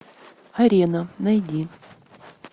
арена найди